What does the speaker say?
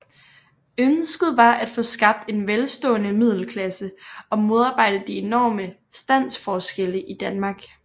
Ønsket var at få skabt en velstående middelklasse og modarbejde de enorme standsforskelle i Danmark